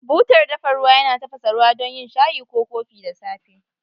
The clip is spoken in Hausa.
Butar dafa ruwa yana tafasa ruwa don yin shayi ko kofi da safe.